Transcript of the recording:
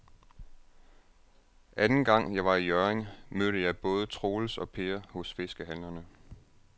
Anden gang jeg var i Hjørring, mødte jeg både Troels og Per hos fiskehandlerne.